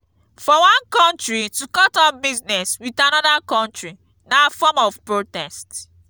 for one country to cut off business with another country na form of protest